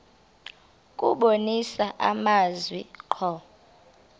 kubonisa amazwi ngqo